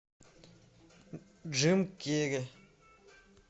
джим керри